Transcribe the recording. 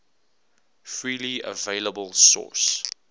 freely available source